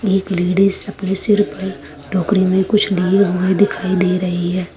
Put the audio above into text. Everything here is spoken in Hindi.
एक लेडिस अपने सिर पर टोकरी में कुछ लिए हुए दिखाई दे रही है।